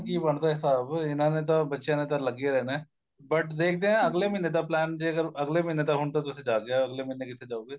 ਕੀ ਬਣਦਾ ਹਿਸਾਬ ਇਹਨਾ ਨੇ ਤਾਂ ਬੱਚਿਆਂ ਨੇ ਤਾਂ ਲੱਗੇ ਰਹਿਣਾ but ਦੇਖਦੇ ਆ ਅਗਲੇ ਮਹੀਨੇ ਦਾ plan ਜੇਕਰ ਅਗਲੇ ਮਹੀਨੇ ਹਨ ਤਾਂ ਤੁਸੀਂ ਜਾ ਕੇ ਆਏ ਓ ਅਗਲੇ ਮਹੀਨੇ ਕਿੱਥੇ ਜਾਉਗੇ